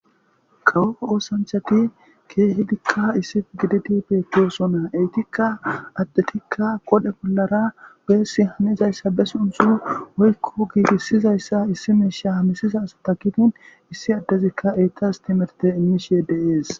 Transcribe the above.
Kawoo oosanchati keehidikka issif giditi beekoosona eytikka addetikka qodhe bollara weessi hamizayssa bes untxuo woykko giigissizayssa issi miisha hamisiza asa takitin issi addezikka eytas timerte inmishi yedeees